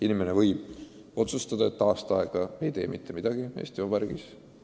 Inimene võib otsustada, et ta näiteks aasta aega ei tee mitte midagi siin Eesti Vabariigis.